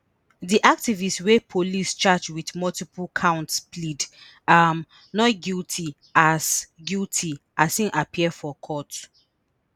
di activist wey police charge wit multiple counts plead um not guilty as guilty as im appear for court